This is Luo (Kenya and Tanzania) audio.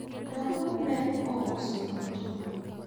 rabuon ne ous duto